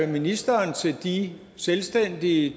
ministeren til de selvstændige